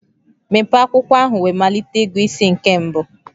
Mepee akwụkwọ ahụ wee malite ịgụ isi nke mbụ.